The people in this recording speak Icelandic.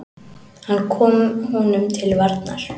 Hann kom honum til varnar.